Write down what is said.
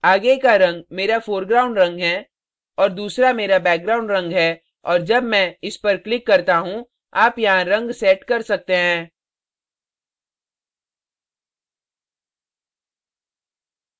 आगे का रंग मेरा foreground रंग हैं और दूसरा मेरा background रंग है और जब मैं इस पर click करता हूँ आप यहाँ रंग set कर सकते हैं